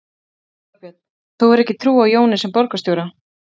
Þorbjörn: Þú hefur ekki trú á Jóni sem borgarstjóra?